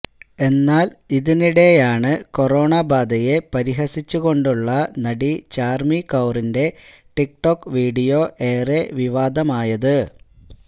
എന്നാല് ഇതിനിടെയാണ് കൊറോണ ബാധയെ പരിഹസിച്ചുകൊണ്ടുള്ള നടി ചാര്മി കൌറിന്റെ ടിക്ടോക്ക് വിഡിയോ ഏറെ വിവാദമായത്